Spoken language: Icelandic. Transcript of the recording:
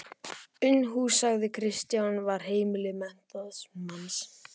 Unuhús, sagði Kristján, var heimili menntaðs manns.